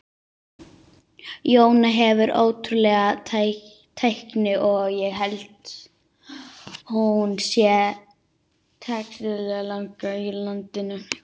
Jóna hefur ótrúlega tækni og ég held hún sé teknískasti leikmaður á landinu.